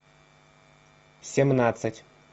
семнадцать